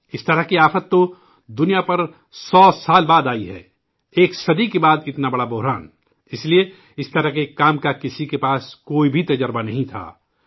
اس طرح کی آفت تو دنیا میں سو سال بعد آئی ہے ، ایک صدی کے بعد اتنا بڑا بحران! اسلئے، اس طرح کے کام کا کسی کے پاس کوئی بھی تجربہ نہیں تھا